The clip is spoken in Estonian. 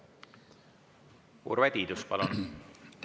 Urve Tiidus, palun!